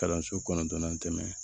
Kalanso kɔnɔntɔnnan tɛmɛn